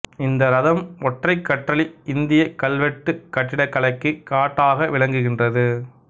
இந்த இரதம் ஒற்றைக் கற்றளி இந்திய கல்வெட்டுக் கட்டிடக்கலைக்கு காட்டாக விளங்குகின்றது